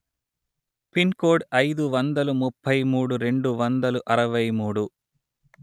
pin code అయిదు వందలు ముప్పై మూడు రెండు వందలు అరవై మూడు